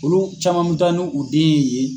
Olu caman be taa n'u den ye yen.